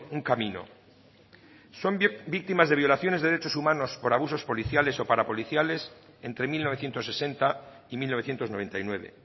un camino son víctimas de violaciones de derechos humanos por abusos policiales o para policiales entre mil novecientos sesenta y mil novecientos noventa y nueve